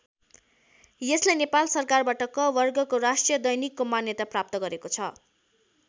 यसले नेपाल सरकारबाट क वर्गको राष्ट्रिय दैनिकको मान्यता प्राप्त गरेको छ।